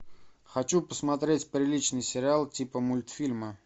хочу посмотреть приличный сериал типа мультфильма